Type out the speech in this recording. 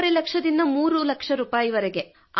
ಎರಡೂವರೆ ಲಕ್ಷ ರೂಪಾಯಿ3 ಲಕ್ಷ ರೂಪಾಯಿ